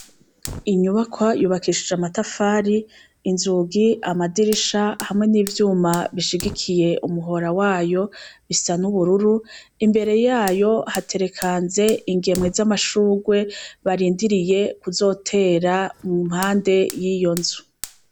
Inyubakwa yubakishije; amatafari, inzugi, amadirisha, hamwe n'ivyuma bishigikiye umuhora wayo, bisa n'ubururu. Imbere yayo haterekanze ingemwe z'amashugwe barindiriye kuzotera mu mpande y'iyonzu.